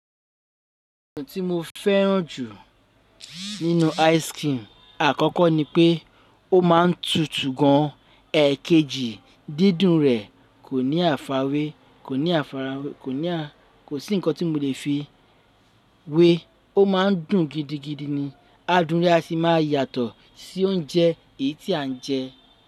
Ohun tí mo fẹ́ràn jù nínú ice cream, àkọ́kọ́ ni pé ó má ń tutù gan an. Ẹ̀ekejì, dídùn rẹ̀ kò ní àfààwé, kò ní àfiwé, kò ní- kò sí nǹkan tí mo lè fi wé, ó ma ń dùn gidigidi ni. A dùn re a sì má a yàtọ̀ sí oúnjẹ èyí tí à ń jẹ.